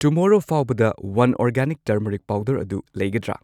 ꯇꯨꯝꯃꯣꯔꯣ ꯐꯥꯎꯕꯗ one organic turmeric powder ꯑꯗꯨ ꯂꯩꯒꯗ꯭ꯔꯥ?